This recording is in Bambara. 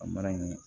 A mana nin